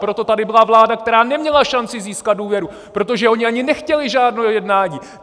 Proto tady byla vláda, která neměla šanci získat důvěru, protože oni ani nechtěli žádné jednání!